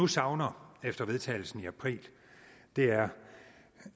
savner efter vedtagelsen i april er